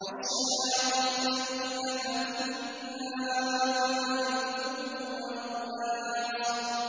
وَالشَّيَاطِينَ كُلَّ بَنَّاءٍ وَغَوَّاصٍ